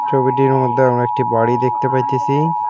ছবিটির মধ্যে আমরা একটি বাড়ি দেখতে পাইতাছি।